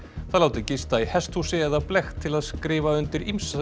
það látið gista í hesthúsi eða blekkt til að skrifa undir ýmsa